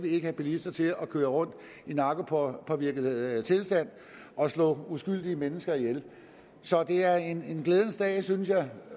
have bilister til at køre rundt i narkopåvirket tilstand og slå uskyldige mennesker ihjel så det er en glædens dag synes jeg